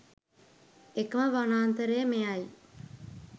එකම වනාන්තරය මෙය යි